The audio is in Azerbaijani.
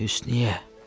Hüsnüyyə.